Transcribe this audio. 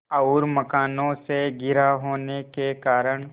और मकानों से घिरा होने के कारण